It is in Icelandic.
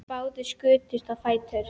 Báðir skutust á fætur.